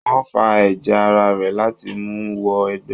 Wọ́n fa ẹ̀jẹ̀ ara rẹ̀ láti mu wọ ẹgbẹ́.